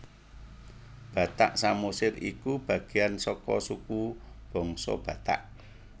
Batak Samosir iku bagéyan saka suku bangsa Batak